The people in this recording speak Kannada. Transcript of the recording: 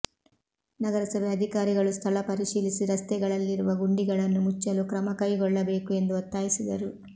ನಗರಸಭೆ ಅಧಿಕಾರಿಗಳು ಸ್ಥಳ ಪರಿಶೀಲಿಸಿ ರಸ್ತೆಗಳಲ್ಲಿರುವ ಗುಂಡಿಗಳನ್ನು ಮುಚ್ಚಲು ಕ್ರಮಕೈಗೊಳ್ಳಬೇಕು ಎಂದು ಒತ್ತಾಯಿಸಿದರು